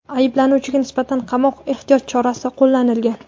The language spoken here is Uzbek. Ayblanuvchiga nisbatan qamoq ehtiyot chorasi qo‘llanilgan.